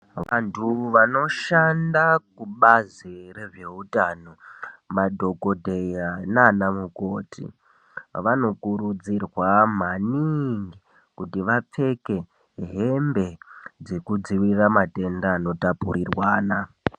Vantu vanoshanda kubazi rezveutano madhokodheya nana mukoti ,vanokurudzirwa maningi kuti vapfeke hembe dzekudzivirira matenda anotapurirwana.